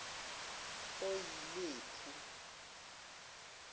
oyilephu